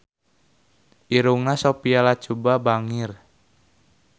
Irungna Sophia Latjuba bangir